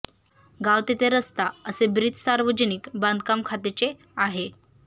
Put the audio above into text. गाव तिथे रस्ता असे ब्रीद सार्वजनिक बांधकाम खात्याचे आहे